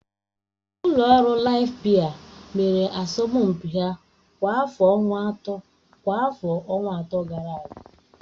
Ụlọ ọrụ Laịf biya mere asọmpi ha kwa afọ ọnwa atọ gara aga.